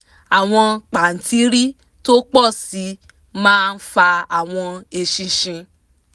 àwọn pàǹtírí tó pọ̀ sí máa fa àwọn eṣinṣin